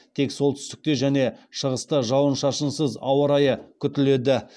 тек солтүстікте және шығыста жауын шашынсыз ауа райы күтіледі